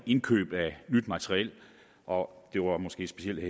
indkøb af nyt materiel og det var måske specielt